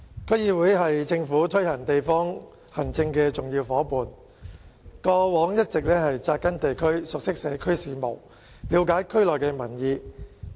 區議會是政府推行地方行政的重要夥伴，過往一直扎根地區，熟悉社區事務，了解區內民意。